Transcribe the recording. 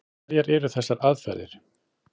Hverjar eru þessar aðferðir?